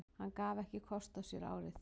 Hann gaf ekki kost á sér árið